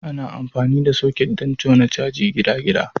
Ana amfani da soket don jona mai gidagida.